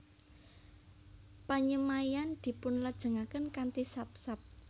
Panyemaian dipunlajengaken kanthi sap sap